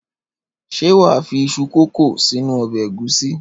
Ṣé wà á fi iṣu kòkó sínú ọbẹ̀ ẹ̀gúsí?